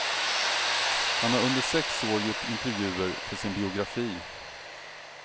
Han har under sex år gjort intervjuer för sin biografi.